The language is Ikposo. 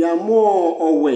yamʋɔ ɔwɛ